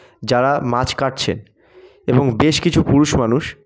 যারা মাছ কাটছেন এবং বেশ কিছু পুরুষ মানুষ--